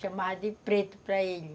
Chamava de preto para ele.